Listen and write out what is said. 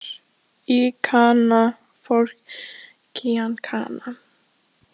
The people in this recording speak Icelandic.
Og náði sér þar í kana, forríkan kana.